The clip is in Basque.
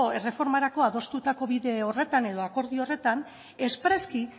erreformarako adostutako bide horretan edo akordio horretan espreski